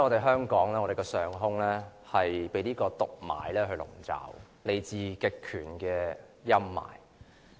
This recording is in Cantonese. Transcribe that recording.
香港近數天的上空被毒霾籠罩，是來自極權的陰霾。